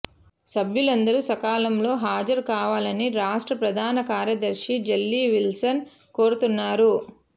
సభ్యులందరూ సకాలంలో హాజరు కావాలని రాష్ట్ర ప్రధానకార్యదర్శి జల్లి విల్సన్ కోరుతున్నారు